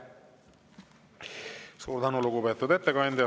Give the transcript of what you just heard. Suur tänu, lugupeetud ettekandja!